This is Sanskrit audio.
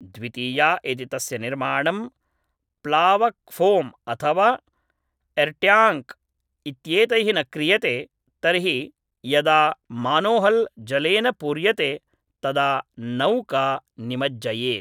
द्वितीया यदि तस्य निर्माणं प्लावकफ़ोम् अथवा एर्ट्याङ्क् इत्येतैः न क्रियते तर्हि यदा मानोहल् जलेन पूर्यते तदा नौका निमज्जयेत्